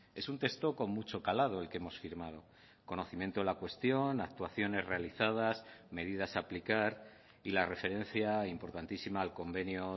es un texto con mucho calado el que hemos firmado conocimiento de la cuestión actuaciones realizadas medidas a aplicar y la referencia importantísima al convenio